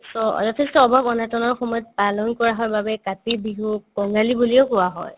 so, যথেষ্ট অভাৱ-অনাটনৰ সময়ত পালন কৰা হয় বাবে কাতি বিহুক কঙালী বুলিও কোৱা হয়